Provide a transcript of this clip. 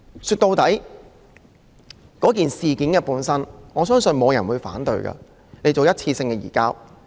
說到底，我相信沒有人會反對政府作出一次性的移交。